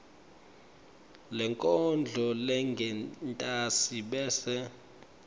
lenkondlo lengentasi bese